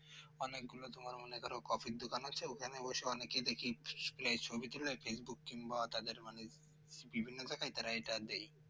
অনেকগুলো তোমার মনে কর কফির দোকান আছে ওখানে বসে অনেকে দেখি ছবি তোলে facebook কিংবা তাদের মানে বিভিন্ন জায়গায় তারা এটা দেয়